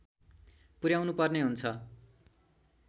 पुर्‍याउनुपर्ने हुन्छ